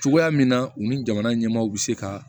Cogoya min na u ni jamana ɲɛmaaw bɛ se ka